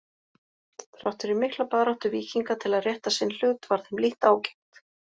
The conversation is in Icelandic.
Þrátt fyrir mikla baráttu Víkinga til að rétta sinn hlut varð þeim lítt ágengt.